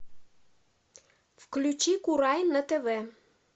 включи курай на тв